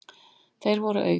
Þeir voru auk